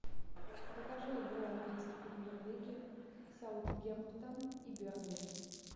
покажи игру английской премьер лиги саутгемптон и бернли